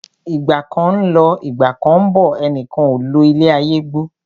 Ìgbà kan ń lọ, Ìgbà kán ń bọ̀, ẹnìkan ò lo ilé ayé gbó.